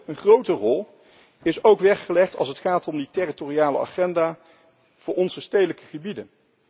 Een grote rol is ook weggelegd, als het gaat om die territoriale agenda, voor onze stedelijke gebieden.